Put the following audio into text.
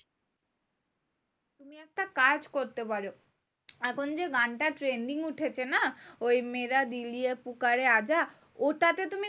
তুমি একটা কাজ করতে পারো। এখন যে গানটা trending উঠেছে না? ওই ওটাতে তুমি